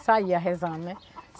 E saía rezando, né?